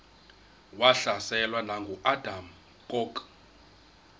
wahlaselwa nanguadam kok